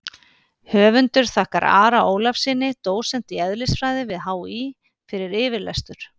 Höfundur þakkar Ara Ólafssyni, dósent í eðlisfræði við HÍ, fyrir yfirlestur.